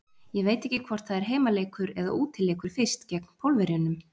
Ég veit ekki hvort það er heimaleikur eða útileikur fyrst gegn Pólverjunum.